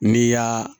N'i y'a